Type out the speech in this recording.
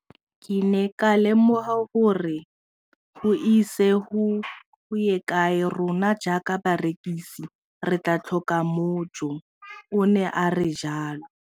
Ke ne ka lemoga gore go ise go ye kae rona jaaka barekise re tla tlhoka mojo, o ne a re jalo.